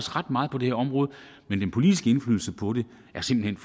ret meget på det her område men den politiske indflydelse på det er simpelt